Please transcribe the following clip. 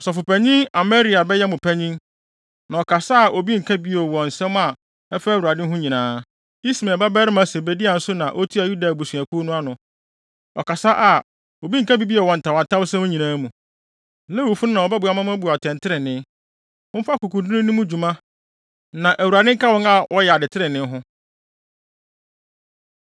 “Ɔsɔfopanyin Amaria bɛyɛ mo panyin, na ɔkasa a obi nka bi bio wɔ nsɛm a ɛfa Awurade ho nyinaa. Ismael babarima Sebadia nso na otua Yuda abusuakuw ano no. Ɔkasa a, obi nka bi bio wɔ ntawntawsɛm nyinaa mu. Lewifo no na wɔbɛboa mo ama moabu atɛntrenee. Momfa akokoduru nni mo dwuma, na Awurade nka wɔn a wɔyɛ ade trenee ho.”